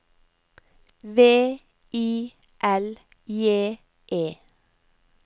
V I L J E